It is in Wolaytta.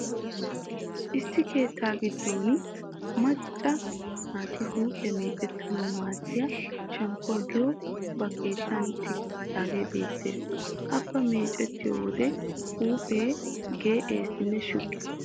Issi keettaa giddon macca naati huuphiya meecettanawu maaddiya shamppoo giyogee ba keettan tigettidaagaa be'eeta. Hafa meecettiyo wode huuphee geeyeesinne shuggees.